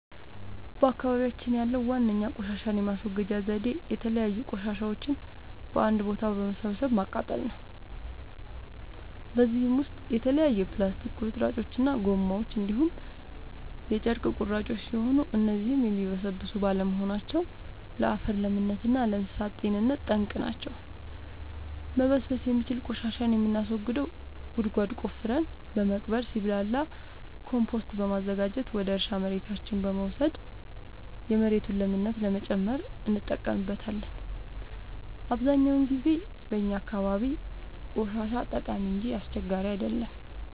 በአካባቢያችን ያለዉ ዋነኛ ቆሻሻን የማስወገጃ ዘዴ የተለያዩ ቆሻሻዎችን በአንድ ቦታ በመሰብሰብ ማቃጠል ነው። በዚህም ውስጥ የተለያዩ የፕላስቲክ ቁርጥራጮች እና ጎማዎች እንዲሁም የጨርቅ ቁራጮች ሲሆኑ እነዚህም የሚበሰብሱ ባለመሆናቸው ለአፈር ለምነት እና ለእንሳሳት ጤንነት ጠንቅ ናቸው። መበስበስ የሚችል ቆሻሻን የምናስወግደው ጉድጓድ ቆፍረን በመቅበር ሲብላላ ኮምቶስት በማዘጋጀት ወደ እርሻ መሬታችን በመውሰድ የመሬቱን ለምነት ለመጨመር እንጠቀምበታለን። አብዛኛውን ጊዜ በእኛ አካባቢ ቆሻሻ ጠቃሚ እንጂ አስቸጋሪ አይደለም።